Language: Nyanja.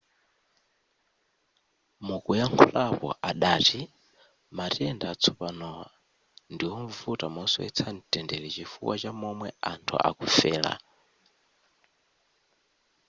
mukuyakhulapo adati matenda atsopanowa ndiwovuta mosowetsa mtendere chifukwa cha momwe anthu akufera